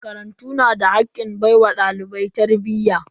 Makarantu na da hakkin baiwa dalibai tarbiyya.